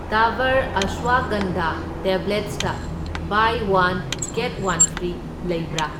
ꯗꯥꯕꯔ ꯑꯁ꯭ꯋꯒꯟꯙꯥ ꯇꯦꯕ꯭ꯂꯦꯠꯁꯇ 'buy one get one free' ꯂꯩꯕ꯭ꯔꯥ?